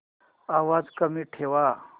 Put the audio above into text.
आवाज कमी ठेवा